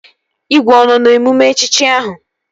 Igwe ọ nọ n'emume echichi ahụ?